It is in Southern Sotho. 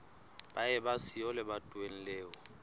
ba eba siyo lebatoweng leo